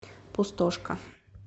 пустошка